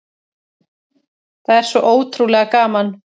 Það er svo ótrúlega gaman